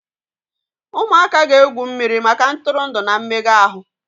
Ụmụaka ga-egwu mmiri maka ntụrụndụ na mmega ahụ.